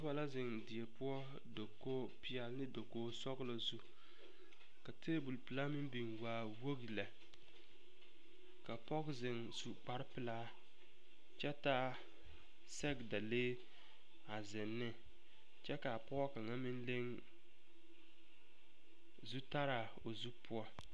Noba la zeŋ die poɔ dakogipeɛle dakogisɔglɔ zu ka tabolpelaa meŋ biŋ waa wogi lɛ ka pɔge zeŋ su kparepelaa kyɛ taa sɛgedalee a zeŋ ne kyɛ ka a pɔge kaŋa meŋ leŋ zutaraa o zu poɔ.